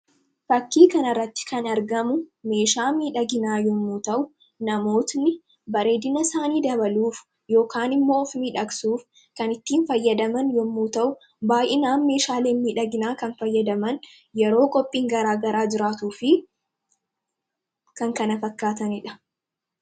Fakkii kanarratti kan argamu meeshaa miidhaginaa yommuu ta'u, namoonni bareedina isaanii dabaluuf yookaan immoo of miidhagsuuf kan ittiin fayyadaman yommuu ta'u, baay'inaan meeshaaleen miidhaginaa kan fayyadaman yeroo qophiin garaagaraa jiraatuu fi kan kana fakkaatanidha.